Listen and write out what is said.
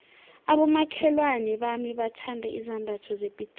abomakhelwana bami bathanda izambatho zepitori